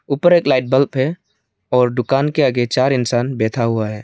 ऊपर एक light bulb है और दुकान के आगे चार इंसान बैठा हुआ है।